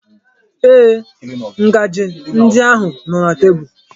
Ee, ngaji ndi ahụ nọ na tebụl.